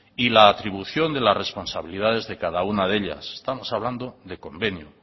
y la atribución de las responsabilidades de cada una de ellas estamos hablando de convenio